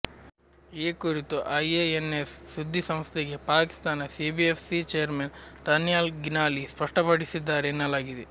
ಈ ಕುರಿತು ಐಎಎನ್ಎಸ್ ಸುದ್ದಿ ಸಂಸ್ಥೆಗೆ ಪಾಕಿಸ್ತಾನ ಸಿಬಿಎಫ್ಸಿ ಚೇರ್ಮನ್ ದನ್ಯಾಲ್ ಗಿಲಾನಿ ಸ್ಪಷ್ಟಪಡಿಸಿದ್ದಾರೆ ಎನ್ನಲಾಗಿದೆ